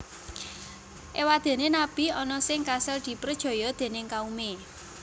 Éwadéné nabi ana sing kasil diprejaya déning kaumé